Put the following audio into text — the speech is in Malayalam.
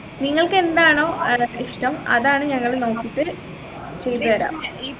നിങ്ങൾക്ക് എന്താണോ ഏർ ഇഷ്ടം അതാണ് നമ്മൾ നോക്കീട്ട് ചെയ്തു തരാ